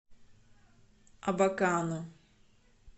абакану